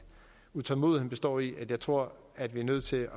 utålmodigheden består i at jeg tror at vi er nødt til